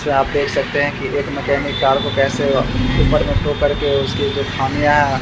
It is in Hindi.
यहाँ पे सकते हैं कि एक मैकेनिक कार को कैसे ऊपर में टो करके उसकी जो खामियां हैं --